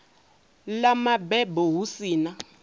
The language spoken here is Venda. ḽa mabebo hu si na